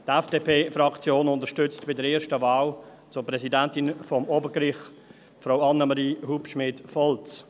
Die FDPFraktion unterstützt bei der ersten Wahl zur Präsidentin des Obergerichts Frau Annemarie Hubschmid Volz.